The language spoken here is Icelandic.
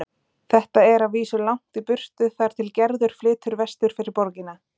Þetta er að vísu langt í burtu þar til Gerður flytur vestur fyrir borgina.